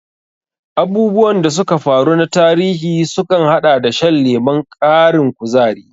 Abubuwan da suka faru na tarihi sukan haɗa da shan lemon ƙarin kuzari.